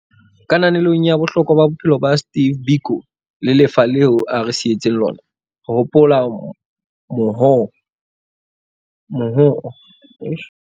Kananelong ya bohlokwa ba bophelo ba Steve Biko le lefa leo a re sietseng lona, re hopola mohoo wa hae o matla wa hore batho ba nkele tokoloho ya bona matsohong a bona.